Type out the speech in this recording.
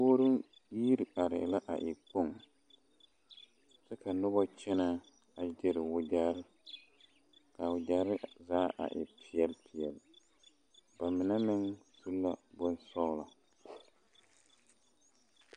Puoruu yo iri arɛɛ la a e kpoŋ kyɛ ka noba kyɛnɛ a gyiri wagyɛre ka a wagyɛre zaa a e peɛle peɛle ba mine meŋ su la bonsɔglɔ.